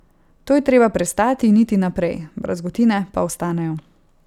To je treba prestati in iti naprej, brazgotine pa ostanejo.